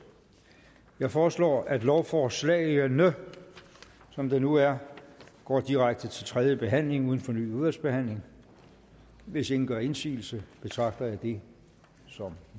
jeg foreslår at lovforslagene som det nu er går direkte til tredje behandling uden fornyet udvalgsbehandling hvis ingen gør indsigelse betragter jeg det som